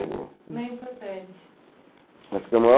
Não é importante.